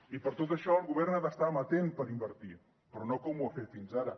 i per tot això el govern ha d’estar amatent per invertir però no com ho ha fet fins ara